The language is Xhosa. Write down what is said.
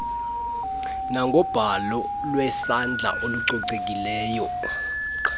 nangobhalo lwesandla olucocekileyo